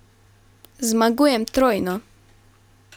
Zmagujem trojno!